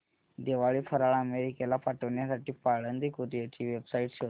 दिवाळी फराळ अमेरिकेला पाठविण्यासाठी पाळंदे कुरिअर ची वेबसाइट शोध